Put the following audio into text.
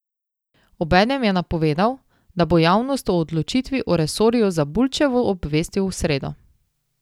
Obenem je napovedal, da bo javnost o odločitvi o resorju za Bulčevo obvestil v sredo.